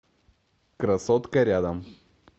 красотка рядом